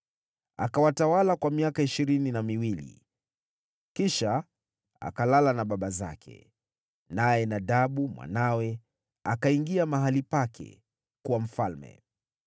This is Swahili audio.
Yeroboamu akawatawala kwa miaka ishirini na miwili, kisha akalala na baba zake. Naye Nadabu mwanawe akawa mfalme baada yake.